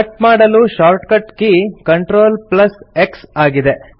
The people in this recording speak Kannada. ಕಟ್ ಮಾಡಲು ಶಾರ್ಟ್ಕಟ್ ಕೀ CTRLX ಆಗಿದೆ